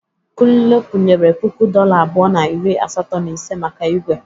Kunle kwunyere puku dọla abụọ na iri asatọ na ise maka igwe.